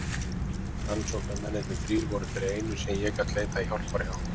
Rannsóknarmennirnir þrír voru þeir einu sem ég gat leitað hjálpar hjá.